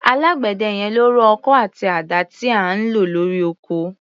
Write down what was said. Alágbẹ̀dẹ yẹn ló rọ ọkọ́ àti àdá tí à ń lò lórí oko.